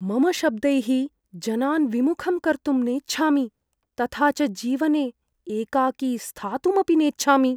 मम शब्दैः जनान् विमुखं कर्तुं नेच्छामि तथा च जीवने एकाकी स्थातुमपि नेच्छामि।